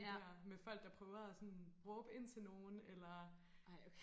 ja med folk der prøver og sådan råbe ind til nogen eller